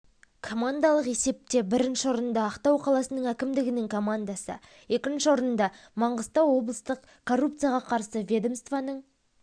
командалық есепте бірінші орында ақтау қаласының әкімдігінің командасы екінші орынды маңғыстау облыстық коррупцияға қарсы ведомстваның